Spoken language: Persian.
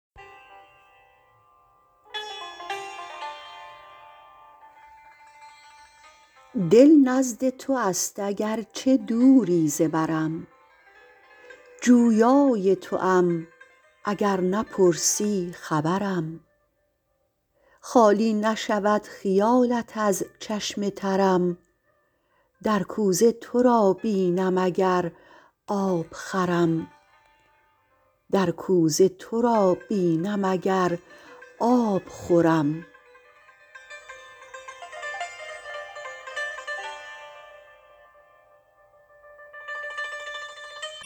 دل نزد تو است اگر چه دوری ز برم جویای توام اگر نپرسی خبرم خالی نشود خیالت از چشم ترم در کوزه تو را بینم اگر آب خورم